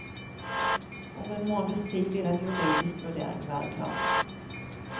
Om en måneds tid vil en juridisk vurdering være klar.